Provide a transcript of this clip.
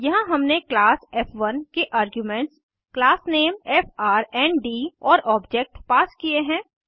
यहाँ हमने क्लास फ़1 के आर्ग्यूमेंट्स class name फ्रंड और ऑब्जेक्ट पास किये हैं